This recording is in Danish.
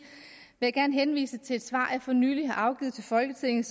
vil jeg gerne henvise til et svar jeg for nylig har afgivet til folketinget